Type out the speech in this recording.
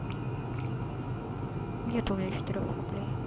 нет у меня четырёх рублей